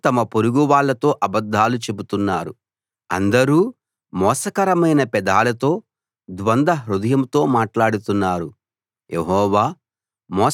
అందరూ తమ పొరుగు వాళ్ళతో అబద్ధాలు చెబుతున్నారు అందరూ మోసకరమైన పెదాలతో ద్వంద్వ హృదయంతో మాట్లాడుతున్నారు